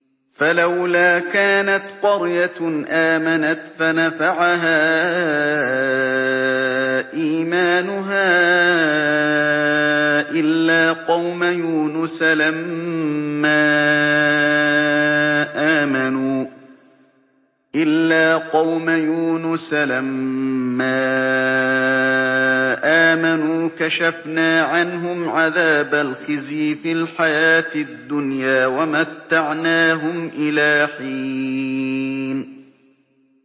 فَلَوْلَا كَانَتْ قَرْيَةٌ آمَنَتْ فَنَفَعَهَا إِيمَانُهَا إِلَّا قَوْمَ يُونُسَ لَمَّا آمَنُوا كَشَفْنَا عَنْهُمْ عَذَابَ الْخِزْيِ فِي الْحَيَاةِ الدُّنْيَا وَمَتَّعْنَاهُمْ إِلَىٰ حِينٍ